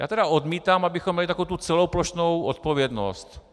Já tedy odmítám, abychom měli takovou tu celoplošnou odpovědnost.